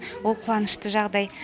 ол қуанышты жағдай